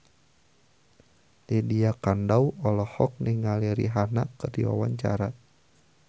Lydia Kandou olohok ningali Rihanna keur diwawancara